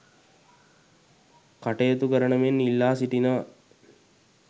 කටයුතු කරන මෙන් ඉල්ලා සිටිනවා